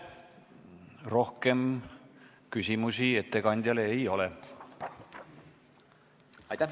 Rohkem küsimusi ettekandjale ei ole.